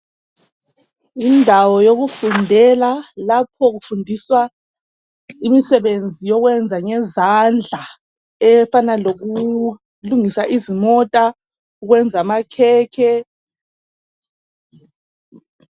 Indawo yokufundela lapho kufundiswa imisebenzi yokwenza ngezandla efana loku lungisa izimota ukwenza amakhekhe.